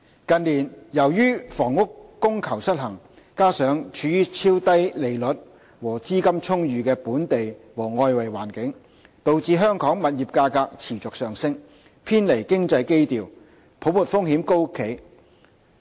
近年，由於房屋供求失衡，加上超低利率和資金充裕的本地和外圍環境，導致香港物業價格持續上升，偏離經濟基調，也令泡沫風險高企。